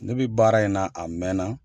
Ne bɛ baara in na a mɛn na.